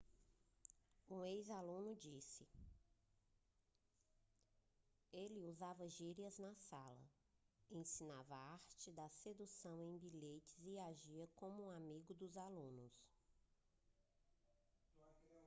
um ex-aluno disse ele usava gírias na sala ensinava artes da sedução em bilhetes e agia como um amigo dos alunos